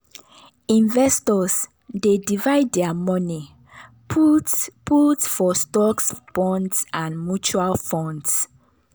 investors dey divide their money put put for stocks bonds and mutual funds.